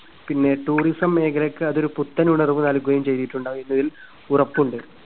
പിന്നെ tourism മേഖലക്ക് അതൊരു പുത്തനുണർവ് നൽകുകയും ചെയ്തിട്ടുണ്ടാവുമെന്നതിൽ ഉറപ്പുണ്ട്.